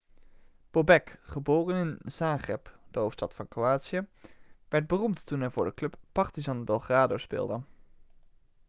bobek geboren in zagreb de hoofdstad van kroatië werd beroemd toen hij voor de club partizan belgrado speelde